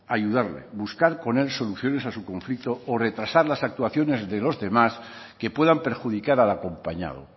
ayudarle buscar con él soluciones a su conflicto o retrasar las actuaciones de los demás que puedan perjudicar al acompañado